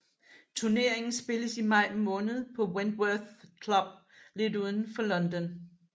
Turneringen spilles i maj måned på Wentworth Club lidt uden for London